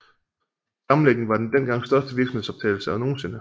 Sammenlægningen var den dengang største virksomhedsovertagelse nogensinde